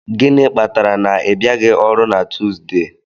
Gịnị kpatara na ị bịaghị ọrụ na Tuesday?